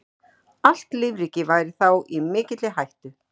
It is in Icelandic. Allt lífríkið væri þá í mikilli hættu.